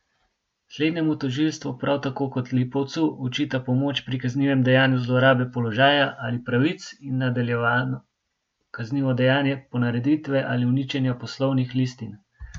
Slednjemu tožilstvo prav tako kot Lipovcu očita pomoč pri kaznivem dejanju zlorabe položaja ali pravic in nadaljevano kaznivo dejanje ponareditve ali uničenja poslovnih listin.